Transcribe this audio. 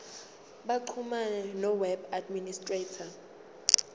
baxhumane noweb administrator